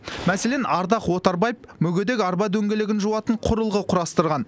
мәселен ардақ отарбаев мүгедек арба дөңгелегін жуатын құрылғы құрастырған